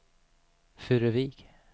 Furuvik